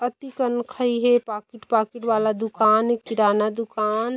अति कन खाई हे पाकिट पाकिट वाला दुकान ए किराना दुकान--